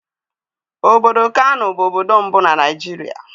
Obodo Kanù bụ obodo mbụ na Naịjirịa.